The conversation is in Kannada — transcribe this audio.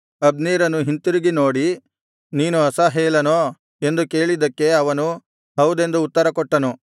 ಅಬ್ನೇರನು ಹಿಂತಿರುಗಿ ನೋಡಿ ನೀನು ಅಸಾಹೇಲನೋ ಎಂದು ಕೇಳಿದ್ದಕ್ಕೆ ಅವನು ಹೌದೆಂದು ಉತ್ತರಕೊಟ್ಟನು